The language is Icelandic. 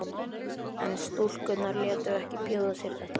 En stúlkurnar létu ekki bjóða sér þetta.